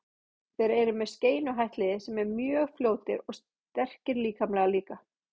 Þeir eru með skeinuhætt lið sem eru mjög fljótir og sterkir líkamlega líka.